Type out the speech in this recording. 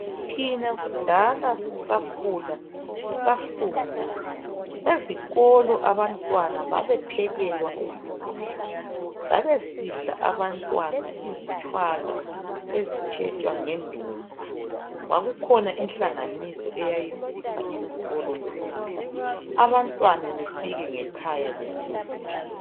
Thina kudala sisakhuka sisafunda ezikolo abantwana babephekelwa ukudla babesidla abantwana izitshwala esitshetshwa ngendumba kwaku khona inhlanganiso ayayisipha izikolo ukudla abantwana befike ngekhaya besuthi.